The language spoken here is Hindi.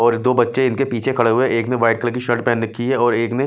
और दो बच्चे इनके पीछे खड़े हुए हैं एक ने वाइट कलर की शर्ट पहन रखी है और एक ने --